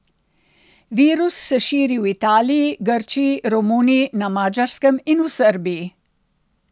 Virus se širi v Italiji, Grčiji, Romuniji, na Madžarskem in v Srbiji.